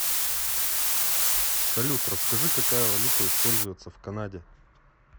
салют расскажи какая валюта используется в канаде